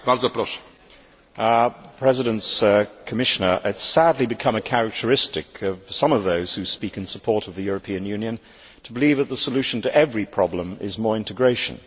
Mr President, it has sadly become a characteristic of some of those who speak in support of the European Union to believe that the solution to every problem is more integration.